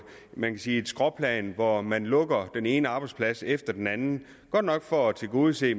man sige skråplan hvor man lukker den ene arbejdsplads efter den anden godt nok for at tilgodese